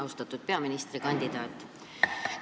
Austatud peaministrikandidaat!